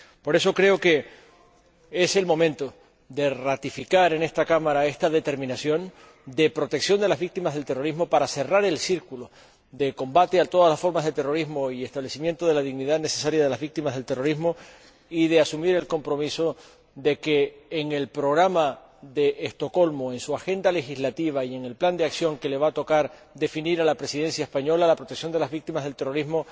Por eso, creo que es el momento de ratificar en esta Cámara esta determinación de protección de las víctimas del terrorismo para cerrar el círculo de combate contra todas las formas de terrorismo y establecimiento de la dignidad necesaria de las víctimas del terrorismo, y de asumir el compromiso de que, en el Programa de Estocolmo, en su agenda legislativa y en el plan de acción que le va tocar definir a la Presidencia española, la protección de las víctimas del terrorismo